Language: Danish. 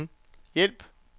hjælp